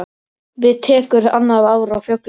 Við tekur annað ár á fjöllum.